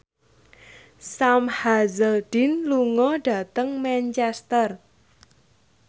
Sam Hazeldine lunga dhateng Manchester